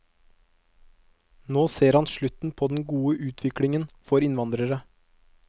Nå ser han slutten på den gode utviklingen for innvandrere.